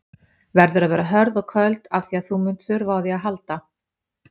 Verður að vera hörð og köld afþvíað þú munt þurfa á því að halda.